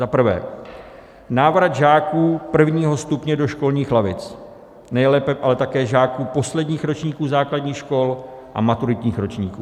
Zaprvé návrat žáků prvního stupně do školních lavic, nejlépe ale také žáků posledních ročníků základních škol a maturitních ročníků.